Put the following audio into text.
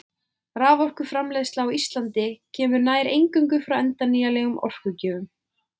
Raforkuframleiðsla á Íslandi kemur nær eingöngu frá endurnýjanlegum orkugjöfum.